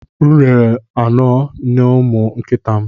M rere anọ n'ụmụ nkịta m.